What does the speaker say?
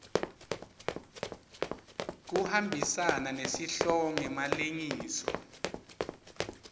kuhambisana nesihloko ngemalengiso